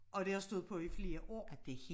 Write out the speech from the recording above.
Og det har stået på i flere år